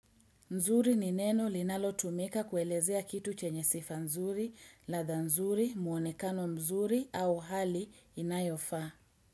Nzuri ni neno linalo tumika kuelezea kitu chenye sifa nzuri, latha nzuri, muonekano mzuri au hali inayofaa.